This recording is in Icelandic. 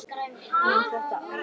Má þetta alveg?